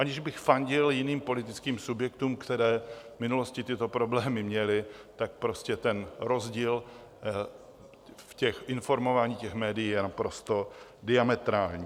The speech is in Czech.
Aniž bych fandil jiným politickým subjektům, které v minulosti tyto problémy měly, tak prostě ten rozdíl v informování těch médií je naprosto diametrální.